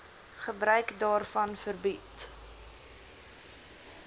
gebruik daarvan verbied